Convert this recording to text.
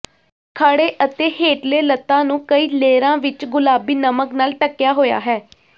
ਖੜ੍ਹੇ ਅਤੇ ਹੇਠਲੇ ਲੱਤਾਂ ਨੂੰ ਕਈ ਲੇਅਰਾਂ ਵਿੱਚ ਗੁਲਾਬੀ ਨਮਕ ਨਾਲ ਢੱਕਿਆ ਹੋਇਆ ਹੈ